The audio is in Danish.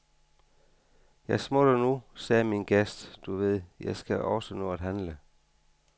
Jeg smutter nu, sagde min gæst, du ved, jeg skal også nå at handle.